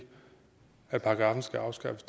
at paragraffen skal afskaffes